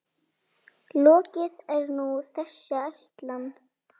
Lokið er nú þessi ætlan.